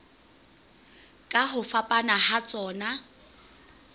ka ho fapana ha tsona